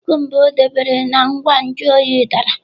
Kukumba o debere na ngwa nju oyi dara.